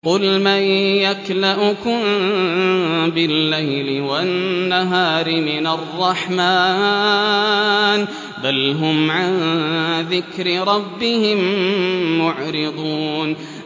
قُلْ مَن يَكْلَؤُكُم بِاللَّيْلِ وَالنَّهَارِ مِنَ الرَّحْمَٰنِ ۗ بَلْ هُمْ عَن ذِكْرِ رَبِّهِم مُّعْرِضُونَ